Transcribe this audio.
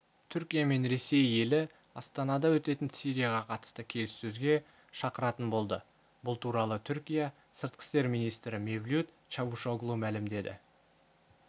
түркия мен ресей елі астанада өтетін сирияға қатысты келіссөзге шақыратын болды бұл туралы түркия сыртқы істер министрі мевлют чавушоглу мәлімдеді